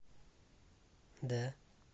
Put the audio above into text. да